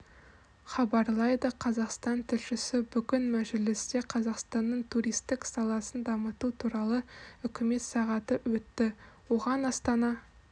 хабарлайды қазақстан тілшісі бүгін мәжілісте қазақстанның туристік саласын дамыту туралы үкімет сағаты өтті оған астана